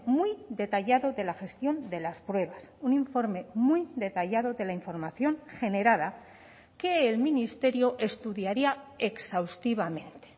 muy detallado de la gestión de las pruebas un informe muy detallado de la información generada que el ministerio estudiaría exhaustivamente